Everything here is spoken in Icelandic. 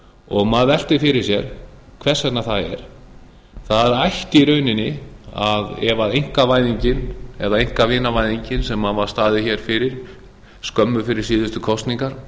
og maður veltir fyrir sér hvers vegna það er það ætti í rauninni ef einkavæðingin eða einkavinavæðingin sem staðið var fyrir skömmu fyrir síðustu kosningar